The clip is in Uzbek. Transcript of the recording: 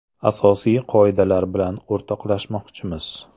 Asosiy qoidalar bilan o‘rtoqlashmoqchimiz.